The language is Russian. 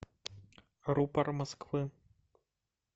рупор москвы